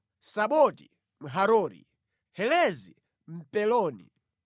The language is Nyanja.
Samoti Mharori, Helezi Mpeloni.